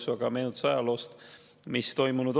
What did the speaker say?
See oli meenutus ajaloost, mis on toimunud.